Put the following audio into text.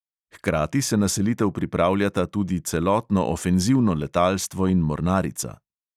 Hkrati se na selitev pripravljata tudi celotno ofenzivno letalstvo in mornarica.